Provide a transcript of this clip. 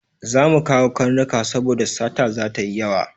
Za mu kawo karnuka saboda sata ta yi yawa.